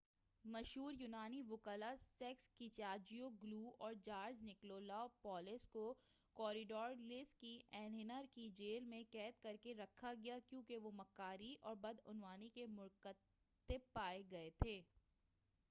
مشہور یونانی وُکلاء سیکس کیچاجیوگلو اور جارج نکولاپولس کو کوریڈیلس کی ایھنز کی جیل میں قید کرکے رکھا گیا ہے کیونکہ وہ مکاری اور بدعنوانی کے مرتکب پائے گئے تھے